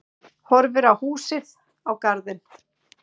Horfir á húsið, á garðinn.